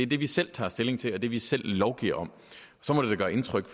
det vi selv tager stilling til og det vi selv lovgiver om så må det da gøre indtryk